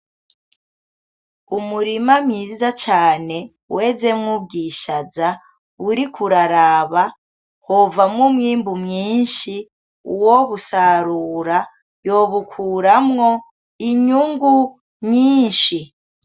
Umurima mwiza cane wezemwo ubwishaza uriko uraraba wovamwo umwimbu mwinshi uwobusarura yobukuramwo inyungu nyinshi .